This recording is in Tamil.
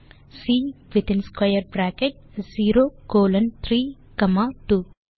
சி வித்தின் ஸ்க்வேர் பிராக்கெட் 0 கோலோன் 3 காமா 2